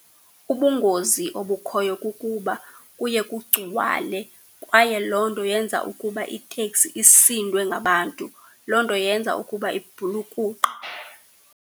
Ubungozi obukhoyo kukuba kuye kugcwale kwaye loo nto yenza ukuba iteksi isindwe ngabantu. Loo nto yenza ukuba ibhulukuqe.